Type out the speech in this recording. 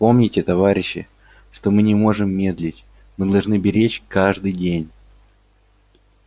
помните товарищи что мы не можем медлить мы должны беречь каждый день